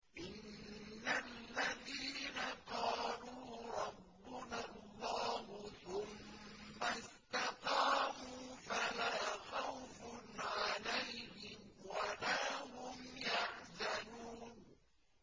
إِنَّ الَّذِينَ قَالُوا رَبُّنَا اللَّهُ ثُمَّ اسْتَقَامُوا فَلَا خَوْفٌ عَلَيْهِمْ وَلَا هُمْ يَحْزَنُونَ